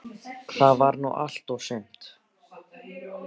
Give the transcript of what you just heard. Það var nú allt og sumt.